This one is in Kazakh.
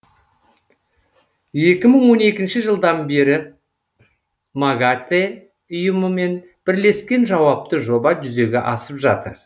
екі мың он екінші жылдан бері магатэ ұйымымен бірлескен жауапты жоба жүзеге асып жатыр